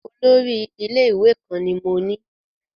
Olórí ilé-ìwé kan ni mo ní.